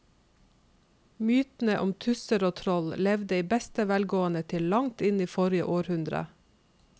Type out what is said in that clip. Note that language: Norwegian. Mytene om tusser og troll levde i beste velgående til langt inn i forrige århundre.